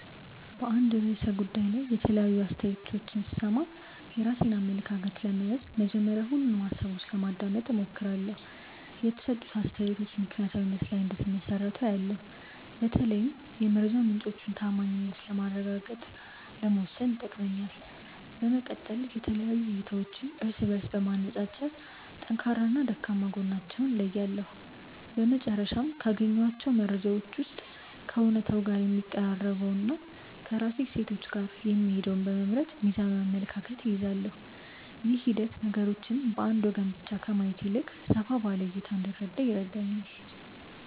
በአንድ ርዕሰ ጉዳይ ላይ የተለያዩ አስተያየቶችን ስሰማ፣ የራሴን አመለካከት ለመያዝ መጀመሪያ ሁሉንም ሃሳቦች ለማዳመጥ እሞክራለሁ። የተሰጡት አስተያየቶች በምክንያታዊነት ላይ እንደተመሰረቱ አያለው፤ በተለይም የመረጃ ምንጮቹን ተዓማኒነት ማረጋገጥ ለመወሰን ይጠቅመኛል። በመቀጠል የተለያዩ እይታዎችን እርስ በእርስ በማነፃፀር ጠንካራና ደካማ ጎናቸውን እለያለሁ። በመጨረሻም፣ ካገኘኋቸው መረጃዎች ውስጥ ከእውነታው ጋር የሚቀራረበውንና ከራሴ እሴቶች ጋር የሚሄደውን በመምረጥ ሚዛናዊ አመለካከት እይዛለሁ። ይህ ሂደት ነገሮችን በአንድ ወገን ብቻ ከማየት ይልቅ ሰፋ ባለ እይታ እንድረዳ ይረዳኛል።